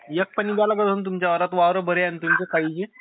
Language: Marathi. वावर बरे आहे ना तुमचे